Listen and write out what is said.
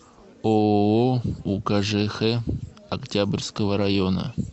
ооо укжх октябрьского района